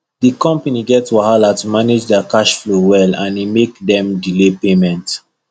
the company get wahala to manage their cash flow well and e make dem delay payment